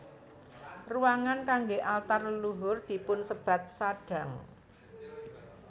Ruangan kanggé altar leluhur dipunsebat sadang